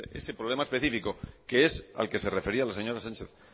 ese problema específico que es al que se refería la señora sánchez